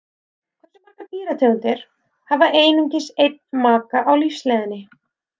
Hversu margar dýrategundir hafa einungis einn maka á lífsleiðinni?